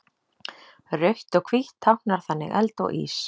Rautt og hvítt táknar þannig eld og ís.